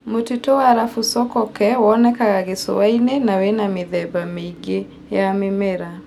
Mũtitũ wa Arabu Sokoke wonekaga gĩcũa-inĩ na wĩ na mĩthemba mĩingĩ ya mĩmera.